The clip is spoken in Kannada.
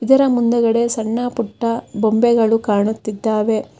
ಇದರ ಮುಂದಗಡೆ ಸಣ್ಣ ಪುಟ್ಟ ಬೊಂಬೆಗಳು ಕಾಣುತ್ತಿದ್ದಾವೆ.